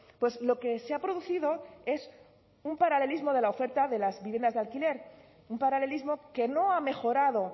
pues lo que se ha producido es un paralelismo de la oferta de las viviendas de alquiler un paralelismo que no ha mejorado